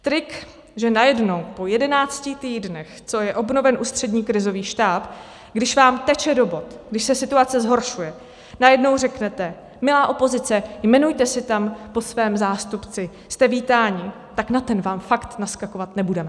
Trik, že najednou po jedenácti týdnech, co je obnoven Ústřední krizový štáb, když vám teče do bot, když se situace zhoršuje, najednou řeknete "milá opozice, jmenujte si tam po svém zástupci, jste vítáni", tak na ten vám fakt naskakovat nebudeme.